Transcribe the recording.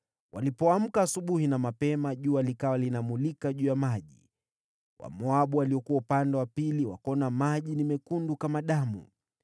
Walipoamka asubuhi na mapema, jua likawa linamulika juu ya maji. Wamoabu waliokuwa upande wa pili wakaona maji ni mekundu, kama damu.